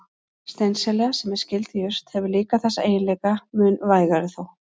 Steinselja, sem er skyld jurt, hefur líka þessa eiginleika, mun vægari þó.